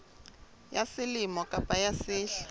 ya selemo kapa ya sehla